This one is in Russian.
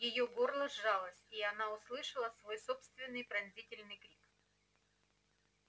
её горло сжалось и она услышала свой собственный пронзительный крик